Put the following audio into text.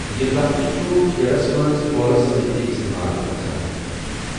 یہِ لفٕظ چھُ کھیلَس منٛز پولَس سۭتۍ تہِ استعمال گژھَان۔